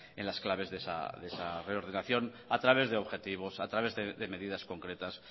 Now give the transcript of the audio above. en las claves de esa reordenación a través de objetivos a través de medidas concretas